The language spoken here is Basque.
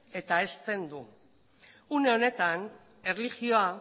eta hezten du une honetan erlijioa